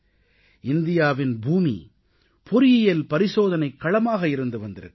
இந்தியாவின் பூமி பொறியியல் பரிசோதனைக் களமாக இருந்து வந்திருக்கிறது